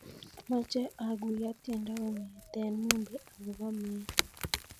Amache aguyo tiendo kong'eten mumbi agobo meet